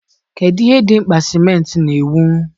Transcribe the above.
kedụ ihe dị mkpa simenti na-ewu?